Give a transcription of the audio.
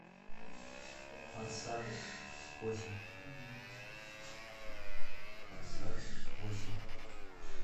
форсаж восемь форсаж восемь